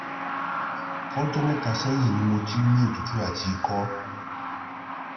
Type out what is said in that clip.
fojo meta seyin ni mo ti n ni otutu ati iko